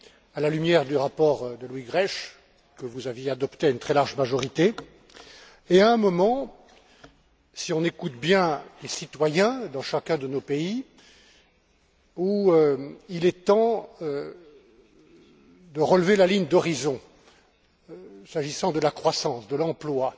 à la lumière du rapport de Louis Grech, que vous aviez adopté à une très large majorité, et à un moment, si on écoute bien les citoyens dans chacun de nos pays, où il est temps de relever la ligne d'horizon, s'agissant de la croissance, de l'emploi